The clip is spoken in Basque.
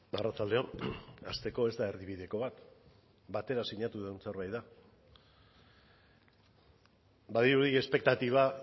arratsalde on hasteko ez da erdibideko bat batera sinatu dugun zerbait da badirudi espektatiba